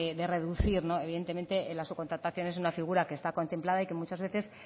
de reducir evidentemente la subcontratación es una figura que está contemplada y que muchas veces